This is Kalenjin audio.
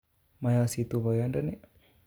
Moyositu boyondoni